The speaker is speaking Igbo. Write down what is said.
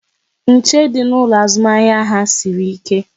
Nche dị n'ụlọ azụmahịa ha sịrị ike